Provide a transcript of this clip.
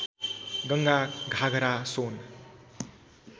Ganga Ghaghara Son